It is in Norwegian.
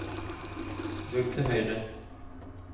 rull til høyre